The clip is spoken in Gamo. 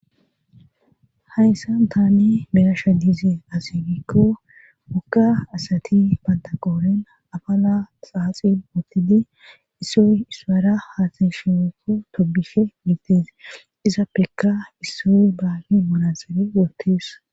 hayssan taani beyasha diize asigikko mokka asati banta qooren afala xaaxi ootide issoy ispara haasasheekko tobihe miigtes izappeka issoy baahi monasere wortees